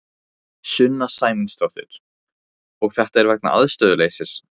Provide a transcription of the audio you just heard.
Sunna Sæmundsdóttir: Og þetta er vegna aðstöðuleysis?